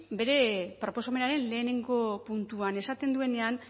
bere proposamenaren lehenengo puntuan esaten duenean